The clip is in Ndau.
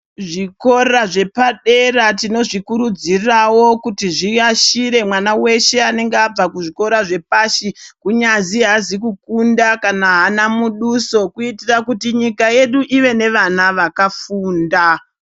Zvikora zvepadera tinozvikurudzirawo kuti zviyashire mwana weshe anenga abva kuzvikora zvepashi kunyazi haazi kukunda kana haana muduso kuitira kuti nyika yedu ive nevana vakafunda .